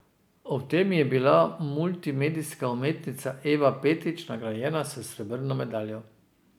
Ob tem je bila multimedijska umetnica Eva Petrič nagrajena s srebrno medaljo.